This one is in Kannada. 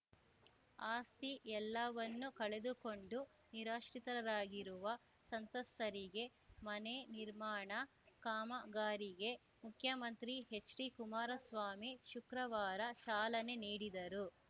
ಆಸ್ತಿ ಎಲ್ಲವನ್ನೂ ಕಳೆದುಕೊಂಡು ನಿರಾಶ್ರಿತರಾಗಿರುವ ಸಂತ್ರಸ್ತರಿಗೆ ಮನೆ ನಿರ್ಮಾಣ ಕಾಮಗಾರಿಗೆ ಮುಖ್ಯಮಂತ್ರಿ ಹೆಚ್‌ಡಿಕುಮಾರಸ್ವಾಮಿ ಶುಕ್ರವಾರ ಚಾಲನೆ ನೀಡಿದರು